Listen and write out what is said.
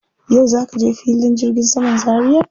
Yau za ka je filin jirgin saman Zaria?